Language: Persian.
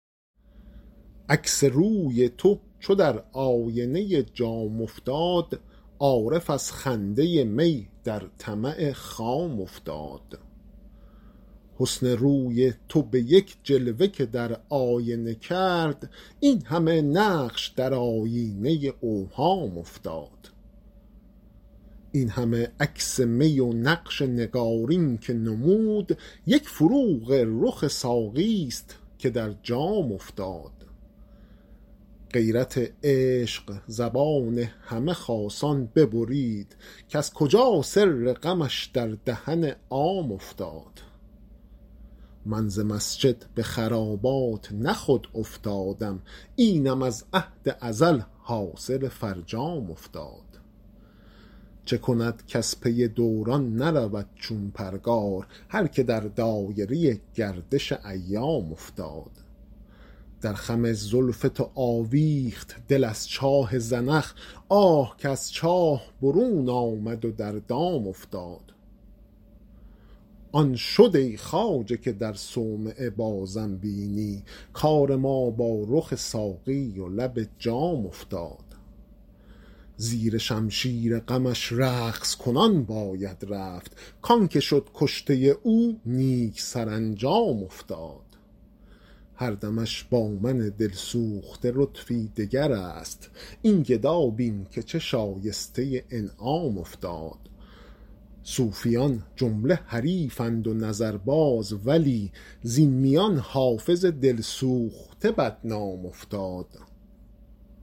عکس روی تو چو در آینه جام افتاد عارف از خنده می در طمع خام افتاد حسن روی تو به یک جلوه که در آینه کرد این همه نقش در آیینه اوهام افتاد این همه عکس می و نقش نگارین که نمود یک فروغ رخ ساقی ست که در جام افتاد غیرت عشق زبان همه خاصان ببرید کز کجا سر غمش در دهن عام افتاد من ز مسجد به خرابات نه خود افتادم اینم از عهد ازل حاصل فرجام افتاد چه کند کز پی دوران نرود چون پرگار هر که در دایره گردش ایام افتاد در خم زلف تو آویخت دل از چاه زنخ آه کز چاه برون آمد و در دام افتاد آن شد ای خواجه که در صومعه بازم بینی کار ما با رخ ساقی و لب جام افتاد زیر شمشیر غمش رقص کنان باید رفت کـ آن که شد کشته او نیک سرانجام افتاد هر دمش با من دل سوخته لطفی دگر است این گدا بین که چه شایسته انعام افتاد صوفیان جمله حریفند و نظرباز ولی زین میان حافظ دل سوخته بدنام افتاد